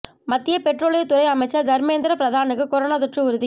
மத்திய பெட்ரோலியத் துறை அமைச்சர் தர்மேந்திர பிரதானுக்கு கொரோனா தொற்று உறுதி